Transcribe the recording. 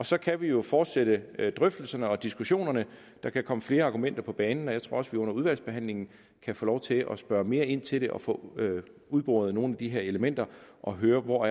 så kan vi jo fortsætte drøftelserne og diskussionerne der kan komme flere argumenter på banen og jeg tror også at vi under udvalgsbehandlingen kan få lov til at spørge mere ind til det og få udboret nogle af de her elementer og høre hvor